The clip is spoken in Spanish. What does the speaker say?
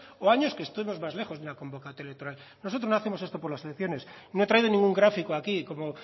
o años que estemos más lejos de una convoca electoral nosotros no hacemos esto por las secciones ni he traído ningún gráfico aquí como